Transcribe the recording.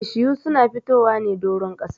Bishiyu su na fitowa ne doron ƙasa.